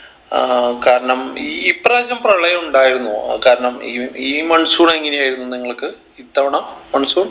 ഏർ കാരണം ഈ പ്രാവശ്യം പ്രളയം ഉണ്ടായിരുന്നോ കാരണം ഇ ഈ monsoon എങ്ങനെ ആയിരുന്നു നിങ്ങൾക്ക് ഇത്തവണ monsoon